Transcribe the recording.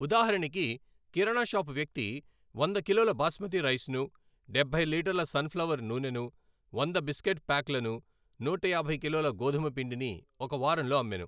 ఉదాహరణకి కిరాణషాపు వ్యక్తి వంద కిలోల బాస్మతి రైస్ను, డబ్బై లీటర్ల సన్ఫ్లవర్ నూనెను, వంద బిస్కెట్ ప్యాక్లను, నూట యాభై కిలోల గోధుమ పిండిని ఒక వారంలో అమ్మెను.